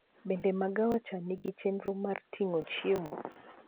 Bende magawa cha nigi chenro mar ting'o chiemo